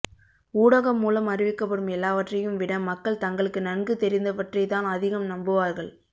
ஊடகம் மூலம் அறிவிக்கப்படும் எல்லாவற்றையும் விட மக்கள் தங்களுக்கு நன்கு தெரிந்த வற்றை தான் அதிகம் நம்புவார்கள்